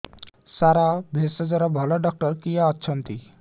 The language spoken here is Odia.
ସାର ଭେଷଜର ଭଲ ଡକ୍ଟର କିଏ ଅଛନ୍ତି